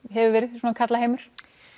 hefur verið svona karlaheimur